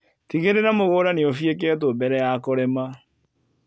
Tigĩrĩra mũgunda nĩ ũfieketwo mbere ya kũrĩma.